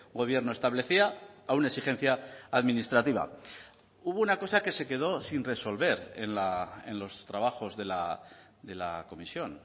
gobierno establecía a una exigencia administrativa hubo una cosa que se quedó sin resolver en los trabajos de la comisión